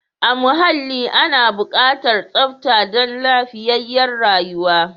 A muhalli ana bukatar tsafta dan lafiyayyar rayuwa.